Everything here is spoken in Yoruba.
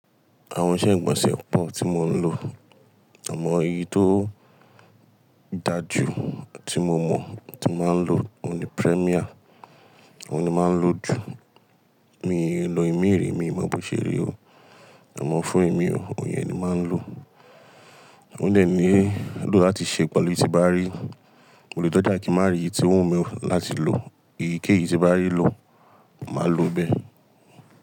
Àwọn iṣẹ́ ìgbọ̀nsẹ̀ pọ̀ tí mo ń lò. Àmọ́ èyí tó dáa jù tí mo mọ̀ tí màá ń lò ó ni Premier. Òun ni màá ń lò jù. Mi ì lo ìmi rí mi mọ̀ bó ṣe rí o, àmọ́ fún èmi o ìyẹn ni màá ń lò. Òun dé ni, lo láti ṣe pẹ̀lú eyìí tí n bá rí. Mo lè dọ́jà, kí n màá rí èyí tó wù mi láti lò. Èyíkéyìí tí n bá rí lò, màá lò ó bẹ́ẹ̀.